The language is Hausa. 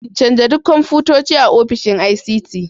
Canja duk kwamfutoci a ofishin ICT.